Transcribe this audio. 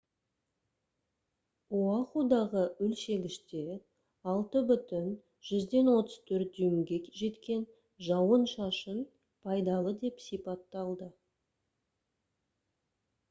оахудағы өлшегіште 6,34 дюймге жеткен жауын-шашын «пайдалы» деп сипатталды